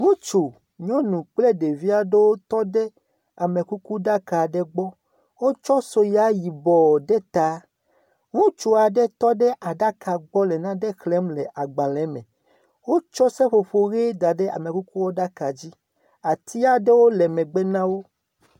Ŋutsu, nyɔnu kple ɖevi aɖewo tɔ ɖe amekukuɖaka aɖe gbɔ, wotsɔ soya yibɔɔ ɖe taa, ŋutsu aɖe tɔ ɖe aɖaka gbɔ le nane xlẽm le agbalẽ me. Wotsɔ seƒoƒo ʋe da ɖe amekukuɖaka dzi. Ati aɖewo le megbe na wo.